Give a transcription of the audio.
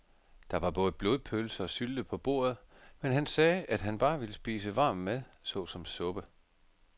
Der var både blodpølse og sylte på bordet, men han sagde, at han bare ville spise varm mad såsom suppe.